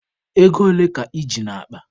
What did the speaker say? Ego ole ka I ji n'akpa?